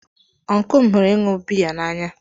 Ọncụl m ihuru ịṅụ biya na anya.